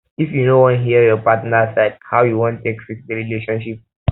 if you no wan hear your partner side how you wan take fix di relationship